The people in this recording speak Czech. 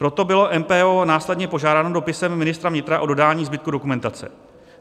Proto bylo MPO následně požádáno dopisem ministra vnitra o dodání zbytku dokumentace.